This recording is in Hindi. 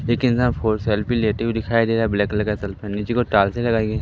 देखिए इंसान फो सेल्फी लेते हुए दिखाई दे रहा है ब्लैक कलर नीचे की ओर लगाई गई--